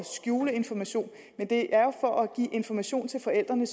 skjule information men det er jo for at give information til forældrene